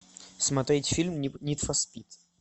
смотреть фильм нид фор спид